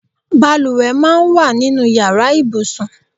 Bàlùwẹ̀ máa ń wà nínú ìyára ibùsùn.